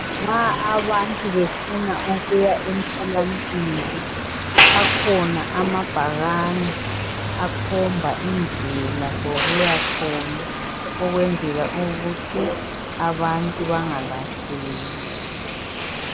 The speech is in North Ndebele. Nxa abantu befuna ukuya emtholampilo, akhona amabhakane akhomba indlela zokuyakhona ukwenzela ukuthi abantu bangalahleki.